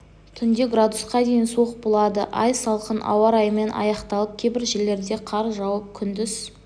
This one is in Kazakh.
түнде градусқа дейін суық болады ай салқын ауа райымен аяқталып кейбір жерлерде қар жауып күндіз